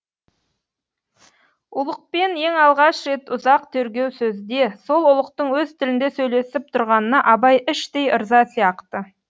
ұлықпен ең алғаш рет ұзақ тергеу сөзде сол ұлықтың өз тілінде сөйлесіп тұрғанына абай іштей ырза сияқты